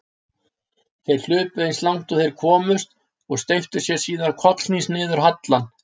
Þeir hlupu eins langt og þeir komust og steyptu sér síðan kollhnís niður hallann.